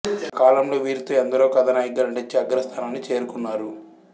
ఆ కాలంలో వీరితో ఎందరో కథానాయికగా నటించి అగ్రస్థానాన్ని చేరుకున్నారు